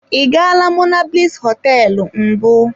I gaala monablis hoteelu mbụ.